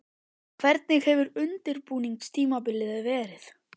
Hvernig hefur undirbúningstímabilið verið?